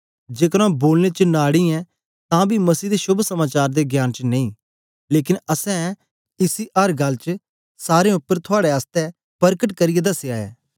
जेकर आंऊँ बोलने च नाड़ी ऐं तां बी मसीह दे शोभ समाचार दे ज्ञान च नेई लेकन असैं इसी अर गल्ल च सारें उपर थुआड़े आसतै परकट करियै दसया ऐ